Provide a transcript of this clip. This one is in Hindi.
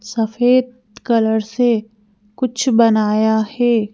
सफेद कलर से कुछ बनाया है।